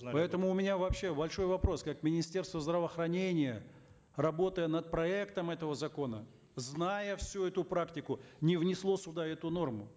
поэтому у меня вообще большой вопрос как министерство здравоохранения работая над проектом этого закона зная всю эту практику не внесло сюда эту норму